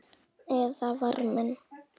Elsku Eðvarð minn.